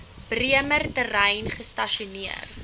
bremer terrein gestasioneer